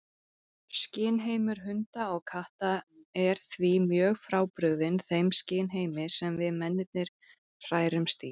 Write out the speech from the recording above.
Skynheimur hunda og katta er því mjög frábrugðinn þeim skynheimi sem við mennirnir hrærumst í.